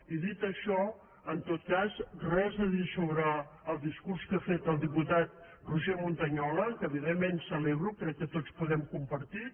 i dit això en tot cas res a dir sobre el discurs que ha fet el diputat roger montañola que evidentment celebro crec que tots el podem compartir